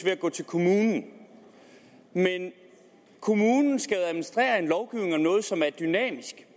at gå til kommunen men kommunen skal administrere en lovgivning om noget som er dynamisk